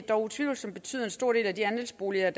dog utvivlsomt betyde at en stor del af de andelsboliger